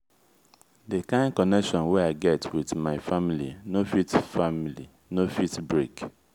di kain connection wey i get wit my family no fit family no fit break.